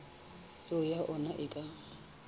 peo ya ona e ka